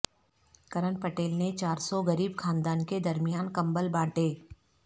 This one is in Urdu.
کرن پٹیل نے چار سو غریب خاندان کے درمیان کمبل بانٹے